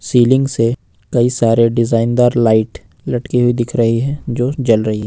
Ceiling से कई सारे डिजाइनदार लाइट लटकी हुई दिख रखी है जो जल रही है।